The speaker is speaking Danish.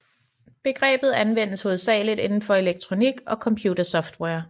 Begrebet anvendes hovedsagelig indenfor elektronik og computersoftware